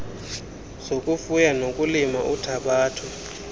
zokufuya nokulima uthabatho